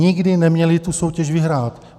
Nikdy neměly tu soutěž vyhrát.